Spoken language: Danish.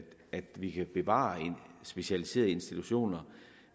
vi kan bevare specialiserede institutioner